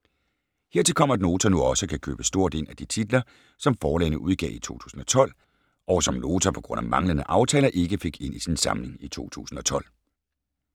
- Hertil kommer, at Nota nu også kan købe stort ind af de titler, som forlagene udgav i 2012, og som Nota på grund af manglende aftaler, ikke fik ind i sin samling i 2012.